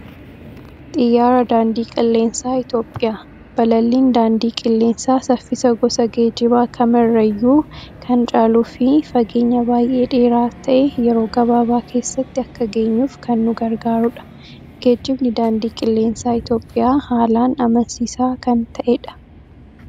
Xiyyaaraa daandii qilleensaa Itoophiyaa. Balalliin daandii qilleensaa saffisa gosa geejjibaa kam irrayyuu kan caaluufi fageenya baay'ee dheeraa ta'e yeroo gabaabaa keessatti akka geenyuuf kan nu gargaarudha. Geejjibni daandii qilleensaa Itoophiyaa haalaan amansiisaa kan ta'edha.